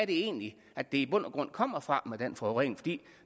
egentlig er det i bund og grund kommer fra med den forurening